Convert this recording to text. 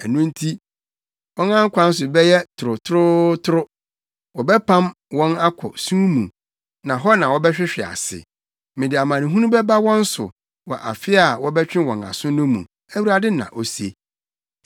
“Ɛno nti, wɔn kwan so bɛyɛ torotorootoro; wɔbɛpam wɔn akɔ sum mu na hɔ na wɔbɛhwehwe ase. Mede amanehunu bɛba wɔn so wɔ afe a wɔbɛtwe wɔn aso mu no,” Awurade na ose.